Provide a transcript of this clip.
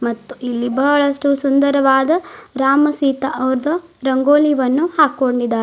ಇಲ್ಲಿ ಬಹಳಷ್ಟು ಸುಂದರವಾದ ರಾಮ ಸೀತಾ ಅವ್ರ್ದ್ ರಂಗೋಲಿ ವನ್ನು ಹಾಕೊಂಡಿದ--